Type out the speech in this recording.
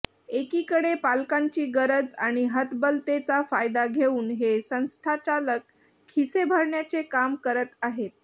एकीकडे पालकांची गरज आणि हतबलतेचा फायदा घेऊन हे संस्थाचालक खिसे भरण्याचे काम करत आहेत